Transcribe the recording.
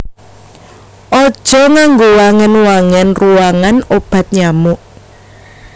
Aja nganggo wangen wangen ruwangan obat nyamuk